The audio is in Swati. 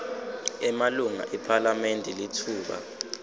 emalunga ephalamende litfuba